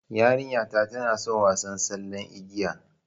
Yarinta tana son wasa tsallen igiya